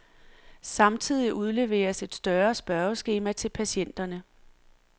Samtidig udleveres et større spørgeskema til patienterne.